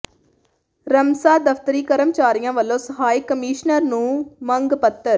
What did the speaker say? ਰਮਸਾ ਦਫ਼ਤਰੀ ਕਰਮਚਾਰੀਆਂ ਵੱਲੋਂ ਸਹਾਇਕ ਕਮਿਸ਼ਨਰ ਨੂੰ ਮੰਗ ਪੱਤਰ